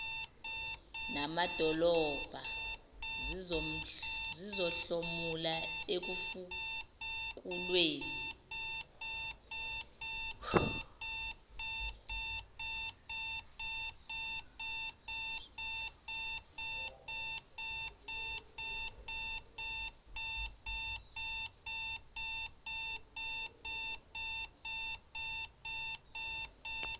namadolobha zizohlomula ekufukulweni